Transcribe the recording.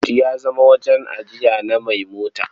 But ya zama wajen ajiya na mai mota.